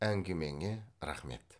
әңгімеңе рақмет